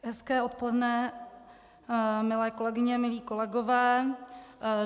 Hezké odpoledne, milé kolegyně, milí kolegové.